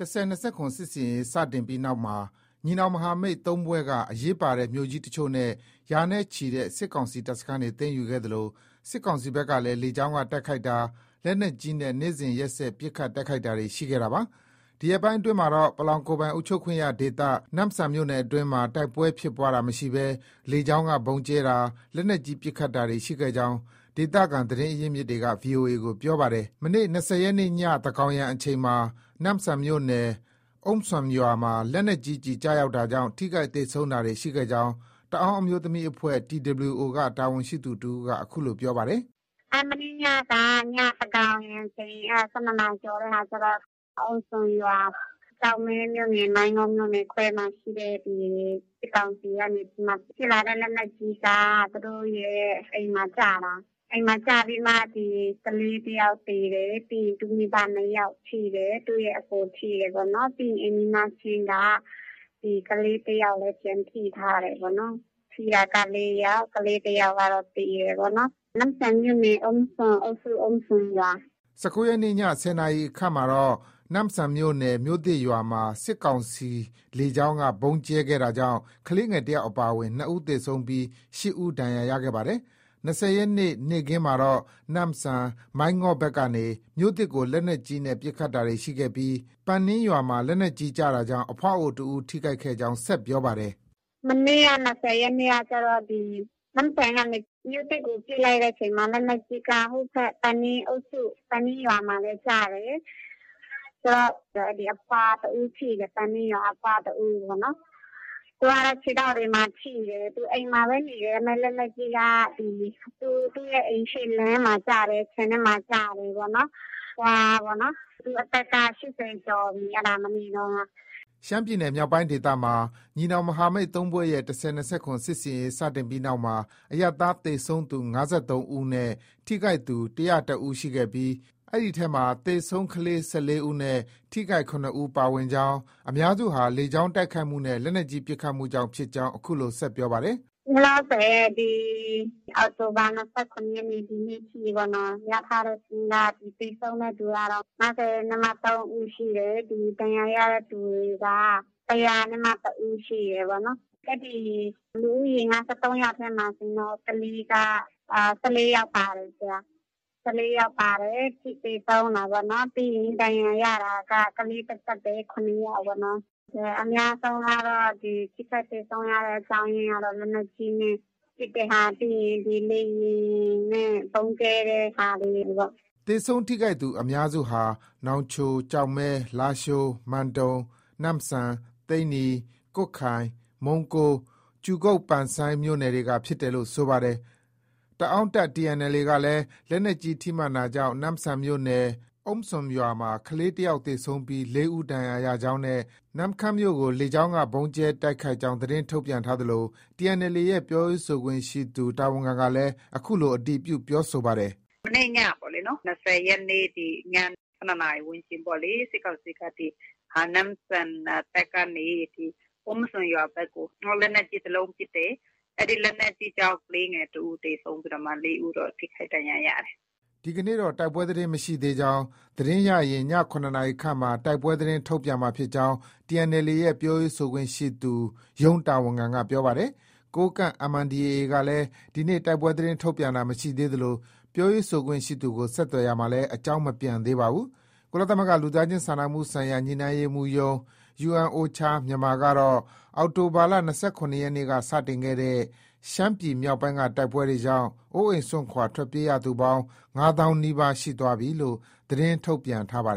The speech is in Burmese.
၁၀၂၇ စစ်ဆင်ရေး စတင်ပြီးနောက်မှာ ညီနောင်မဟာမိတ် ၃ဖွဲ့ က အရေးပါတဲ့မြို့ကြီး အချို့နဲ့ ရာနဲ့ချီတဲ့ စစ်ကောင်စီ တပ်စခန်းတွေ သိမ်းယူခဲ့သလို စစ်ကောင်စီ ဘက်ကလည်း လေကြောင်းက တိုက်ခိုက်တာ၊ လက်နက်ကြီးနဲ့ နေ့စဉ်ရက်ဆက် ပစ်ခတ်တိုက်ခိုက်တာတွေ ရှိခဲ့တာပါ။ ဒီရက်ပိုင်းအတွင်းမှာတော့ ပလောင်ကိုယ်ပိုင်အုပ်ချုပ်ခွင့်ရဒေသ နမ့်ဆန်မြို့နယ်အတွင်းမှာ တိုက်ပွဲဖြစ်ပွားတာ မရှိဘဲ လေကြောင်းက ဗုံးကြဲတာ၊ လက်နက်ကြီး ပစ်ခတ်တာတွေ ရှိခဲ့ကြောင်း ဒေသခံသတင်းရင်းမြစ်တွေက VOA ကို ပြောပါတယ်။ ဒီလ ၂၀ ရက်နေ့ည သန်းခေါင်ယံ အချိန်မှာ နမ့်ဆန်မြို့နယ် အုမ်းစွမ်ရွာမှာ လက်နက်ကြီးကျည် ကျရောက်တာ ကြောင့် ထိခိုက်သေဆုံးတာတွေ ရှိခဲ့ကြောင်း တအာင်းအမျိုးသမီးအဖွဲ့ TWO က တာဝန်ရှိသူ တဦးက အခုလို ပြောပါတယ်။ “ မနေ့ညက သန်းခေါင်ယံအချိန် ၁၂နာရီကျော်မှာကျတော့ အုမ်းစွမ်ရွာ ၊ ကျောက်မဲမြို့နယ် မိုင်းငေါမြို့နယ်ခွဲမှာ ရှိတဲ့ ဒီ စစ်ကောင်စီကနေပြီးမှ ပစ်လာတဲ့ လက်နက်ကြီးက သူတို့ရဲ့ အိမ်မှာ ကျတာ။ အိမ်မှာကျပြီးမှ ကလေးတယောက်သေတယ်။ ပြီးရင် သူ့မိဘနှစ်ယောက် ထိတယ်။ သူ့ရဲ့အကို ထိတယ်ပေါ့နော်။ ပြီးရင် အိမ်နီးနားချင်းက ကလေးတယောက်လည်း ပြန်ထိထားတယ်ပေါ့နော်။ ထိတာက ၄ယောက်၊ ကလေးတယောက်ကတော့ သေတယ်ပေါ့။ နမ့်ဆန်မြို့နယ် အုမ်းစွမ်အုပ်စု၊ အုမ်းစွမ်ရွာ။ ” ၁၉ ရက်နေ့ ည ၁၀ နာရီ ခန့်မှာတော့ နမ့်ဆန်မြို့နယ် မြို့သစ်ရွာမှာ စစ်ကောင်စီ လေကြောင်းက ဗုံးကြဲခဲ့တာကြောင့် ကလေးတယောက်အပါအဝင် ၂ ဦးသေဆုံးပြီး ၈ဦး ဒဏ်ရာရခဲ့ပါတယ်။ ၂၀ရက်နေ့ နေ့ခင်းမှာတော့ နမ့်ဆန်၊ မိုင်းငေ့ါဘက်ကနေ မြို့သစ်ကို လက်နက်ကြီးနဲ့ ပစ်ခတ်တာတွေ ရှိခဲ့ပြီး ပန်နင်းရွာမှာ လက်နက်ကြီးကျတာကြောင့် အဖွားအိုတဦး ထိခိုက်ခဲ့ကြောင်း ဆက်ပြောပါတယ်။ “ မနေ့က ၂၀ရက်နေ့ကကျတော့ ဒီ နမ့်ဆန်ကနေ မြို့သစ်ကို ပစ်လိုက်တဲ့အချိန်မှာ လက်နက်ကြီးက ပန်နင်းအုပ်စု ပန်နင်းရွာမှာပဲကျတယ်။ ဆိုတော့ အဲဒီ အဖွား တဦး ထိတယ်။ ပန်နင်းရွာက အဖွား တဦးပေါ့နော်။ သူကတော့ ခြေထောက်တွေမှာ ထိတယ်။ သူ အိမ်မှာပဲနေတာ ဒါပေမဲ့ လက်နက်ကြီးက သူ့ရဲ့ အိမ်ရှေ့လမ်းမှာ ကျတယ်။ ခြံထဲမှာ ကျတယ်ပေါ့။ အဖွားက သူ့အသက်က ၈၀ ကျော်ပြီ အဲဒါ မနေ့တုံးက။ ” ရှမ်းပြည်နယ်မြောက်ပိုင်းဒေသမှာ ညီနောင်မဟာမိတ် ၃ ဖွဲ့ရဲ့ ၁၀၂၇ စစ်ဆင်ရေး စတင်ပြီးနောက်မှာ အရပ်သား သေဆုံးသူ ၅၃ ဦးနဲ့ ထိခိုက်သူ ၁၀၁ ဦးရှိပြီး အဲဒီထဲမှာ သေဆုံး ကလေး ၁၄ ဦးနဲ့ ထိခိုက် ၇ ဦး ပါဝင်ကြောင်း ၊ အများစုဟာ လေကြောင်းတိုက်ခိုက်မှုနဲ့ လက်နက်ကြီး ပစ်ခတ်မှု ကြောင့်ဖြစ် ကြောင်း အခုလို ပြောပါတယ်။ “ လောလောဆည် အောက်တိုဘာ ၂၇ရက်နေ့ ကနေ ဒီနေ့ထိ ရထားတဲ့စာရင်းက သေဆုံးတဲ့သူ ကတော့ ၅၃ဦးရှိတယ်။ ဒဏ်ရာရတဲ့သူတွေက ၁၀၁ ဦး ရှိတယ်ပေါ့နော်။ အဲဒီ လူဦးရေ ၅၃ ယောက်ထဲ မှာ ကလေး က ၁၄ယောက်ပါတယ်။ သေဆုံးတာပေါ့နော်။ ပြီးရင် ဒဏ်ရာရတာက ကလေး သက်သက် ကပဲ ၇ ယောက်ပေါ့နော်။ ထိခိုက်သေဆုံးရတဲ့ အများစုကတော့ လက်နက်ကြီးနဲ့ ပစ်တဲ့ဟာ၊ ပြီးရင် လေယာဉ် နဲ့ ဗုံးကြဲတဲ့ဟာတွေ ပေါ့။ ” သေဆုံးထိခိုက်သူ အများစုဟာ နောင်ချို၊ ကျောက်မဲ၊ လားရှိုး၊ မန်တုံ၊ နမ့်ဆန်၊ သိန္နီ၊ ကွတ်ခိုင်၊ မုံးကိုး၊ ကြူကုတ် မြို့နယ်တွေက ဖြစ်တယ်လို့ ဆိုပါတယ်။ တအာင်းတပ် TNLA ကလည်း လက်နက်ကြီး ထိမှန်တာကြောင့် နမ့်ဆန်မြို့နယ် အုမ်းစွန်ရွာမှာ ကလေး တယောက်သေဆုံးပြီး ၄ဦး ဒဏ်ရာရကြောင်း နဲ့ နမ့်ခမ်းမြို့ကို လေကြောင်းက ဗုံးကြဲတိုက်ခိုက် ကြောင်း သတင်းထုတ်ပြန်ထား သလို TNLAရဲ့ ပြောရေးဆိုခွင့်ရှိသူ ရုံးတာဝန်ခံကလည်း အခုလို အတည်ပြု ပြောဆိုပါတယ်။ “ မနေ့ညပေါ့လေ။ ၂၀ရက်နေ့ ည ၁၂နာရီ ဝန်းကျင်ပေါ့လေ။ စစ်ကောင်စီက နမ့်ဆန်ဘက်ကနေ အုမ်းစွန်ရွာဘက်ကို လက်နက်ကြီး တလုံးပစ်တယ်။ အဲဒီ လက်နက်ကြီးကြောင့် ကလေးငယ် ၁ ဦး သေဆုံးပြီးမှ ၄ ဦးတော့ ထိခိုက်ဒဏ်ရာရတယ်။” ဒီကနေ့တော့ တိုက်ပွဲသတင်း မရရှိသေးကြောင်း၊ သတင်းရရင် ည ၇ခန့်မှာမှ တိုက်ပွဲသတင်း ထုတ်ပြန်မှာ ဖြစ်ကြောင်း TNLAရဲ့ ပြောရေးဆိုခွင့်ရှိသူ ရုံးတာဝန်ခံက ပြောပါတယ်။ ကိုးကန့် MNDAA ကလေည်း ဒီနေ့ တိုက်ပွဲသတင်း ထုတ်ပြန်တာ မရှိသေးသလို ပြောရေးဆိုခွင့်ရှိသူကို ဆက်သွယ်ရာ မှာလည်း အကြောင်း မပြန်သေးပါဘူး။ ကုလသမဂ္ဂ လူသားချင်းစာနာမှုဆိုင်ရာ ညှိနှိုင်းရေးမှူးရုံး ကတော့ အောက်တိုဘာ ၂၇ နေ့က စတင်ခဲ့တဲ့ ရှမ်းပြည်မြောက်ပိုင်းက တိုက်ပွဲတွေကြောင့် အိုးအိမ်စွန့်ခွာ ထွက်ပြေးရ သူပေါင်း ၅ သောင်း နီးပါးရှိသွားပြီလို့ သတင်းထုတ်ပြန်ထားပါတယ်